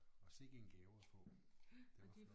Og sikke en gave at få det var flot